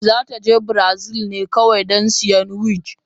za ta je Brazil ne kawai don siyan wig